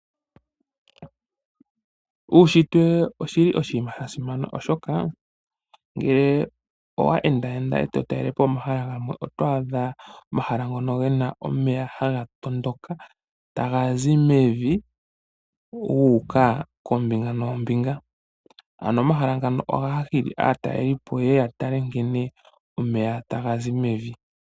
Uunshitwe owa simana molwaashoka ngele owende totala omahala gamwe oto adha omahala ngoka gena omagwo nomatondoko gomeya. Ohaga zi mevi nenge momanya guuka koombinga noombinga . Omahala goludhi nduno ohaga hili aatalelipo yeye yatale nkene taga ningi omayinyengo okuza mevi nenge momanya.